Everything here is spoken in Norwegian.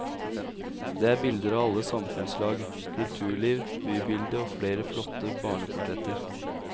Det er bilder av alle samfunnslag, kulturliv, bybilde og flere flotte barneportretter.